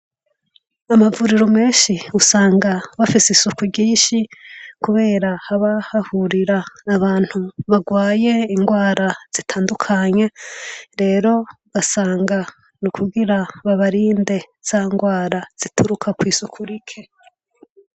Amavuriro menshi usanga bafise isuku ryinshi, kubera haba hahurira abantu bagwaye ingwara zitandukanye, rero ugasanga ni ukugira babarinde za ngwara zituruka kw'isuku rike.